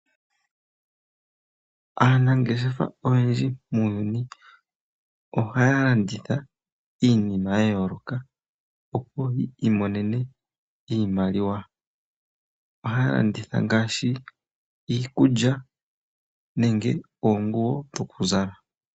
Aanangeshefa oyendji muunyuni ohaya landitha iinima ya yooloka opo yi imonene iimaliwa. Ohaya landitha ngaashi iikulya nenge oonguwo dhokuzala.